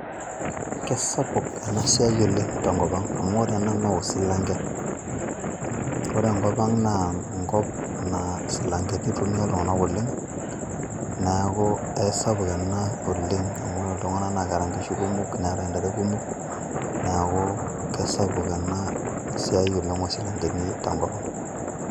Kesapuk enasiai oleng tenkop ang'. Amu ore ena noosilanke. Ore enkop ang' naa, enkop naa silankeni itumia iltung'anak oleng', neeku aisapuk ena, oleng' amu ore iltung'anak naketa nkishu kumok, neeta ntare kumok, neeku kesapuk enasiai oleng' osilankeni tenkop ang'.